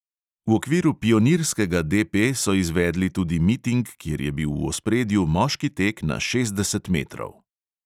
V okviru pionirskega DP so izvedli tudi miting, kjer je bil v ospredju moški tek na šestdeset metrov.